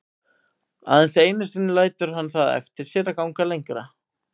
Aðeins einu sinni lætur hann það eftir sér að ganga lengra.